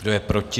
Kdo je proti?